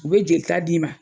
U bɛ jelita di'i ma.